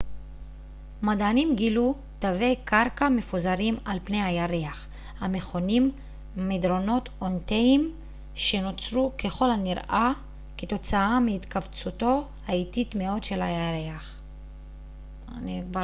מדענים גילו תווי קרקע מפוזרים על פני הירח המכונים מדרונות אונתיים שנוצרו ככל הנראה כתוצאה מהתכווצותו האיטית מאוד של הירח